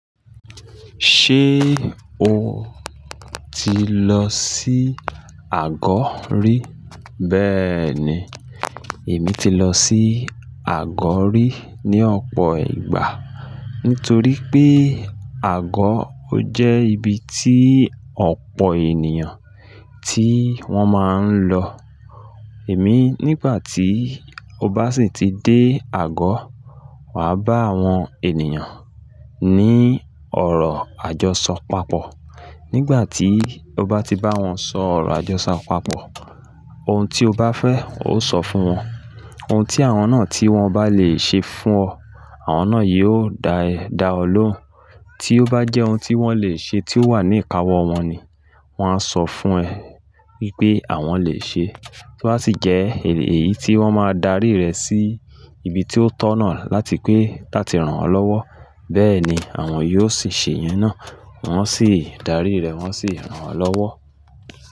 Ṣé o ti lọ sí Àgọ̀ rí? Bẹ́ẹ̀ni, èmi ti lọ sí Àgọ̀ rí ní ọ̀pọ̀ ìgbà. Nítorí pé Àgọ̀ ó jẹ́ ibi tí ọ̀pọ̀ ènìyàn tí wọ́n máa ń lọ. Èmi nígbà tí o bá sì ti dé Àgọ̀, wà á bá àwọn ènìyàn ní ọ̀rọ̀ àjọṣọ pàpọ̀. Nígbà tí o bá ti bá wọn sọ ọ̀rọ̀ àjọṣọ pàpọ̀, ohun tí o bá fẹ́, oo só fún wọn. Ohun tí àwọn náà tí wọ́n bá lè ṣe fún ọ, àwọn náà yóò dá e da ọ lóhùn. Tí ó bá jẹ́ ohun tí wọ́n lè ṣe tí ó wà ní ìkáwọ́ wọn ni wọ́n á sọ fún ẹ wipé àwọn lè ṣe é. Ó bá sì jẹ́ ey èyí tí wọ́n máa darí rẹ sí ibi tí ó tọ̀nà láti pé lati rán ọ lọ́wọ́, bẹ́ẹ̀ni àwọn yóò sì ṣe ìyen náà. Wọn sì darí rẹ̀, wọ́n sì rán o lọ́wọ́.